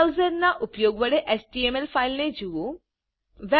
web browser ના ઉપયોગ વડે એચટીએમએલ ફાઈલ ને જુઓ